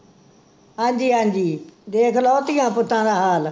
ਹਾਂਜੀ ਹਾਂਜੀ, ਦੇਖਲੋ ਧੀਆਂ ਪੁੱਤਾਂ ਦਾ ਹਾਲ